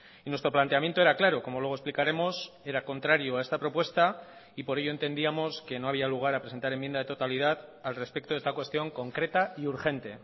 y nuestro planteamiento era claro como luego explicaremos era contrario a esta propuesta y por ello entendíamos que no había lugar a presentar enmienda de totalidad al respecto de esta cuestión concreta y urgente